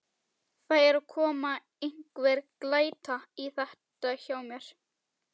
Það er að koma einhver glæta í þetta hjá mér.